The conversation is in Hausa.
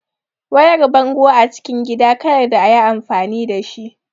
Wayar bango acikin gida kayarda ayi amfani dashi